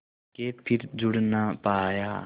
के फिर जुड़ ना पाया